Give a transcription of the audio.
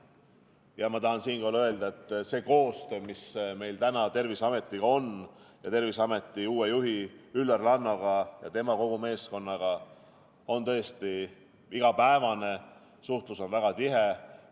Ja ma tahan siinkohal öelda, et see koostöö, mis meil on Terviseametiga ja Terviseameti uue juhi Üllar Lanno ja tema meeskonnaga, on tõesti igapäevane, suhtlus on väga tihe.